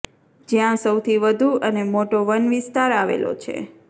જ્યાં સૌથી વધુ અને મોટો વન વિસ્તાર આવેલો છે